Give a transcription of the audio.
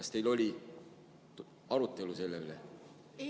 Kas teil oli arutelu selle üle?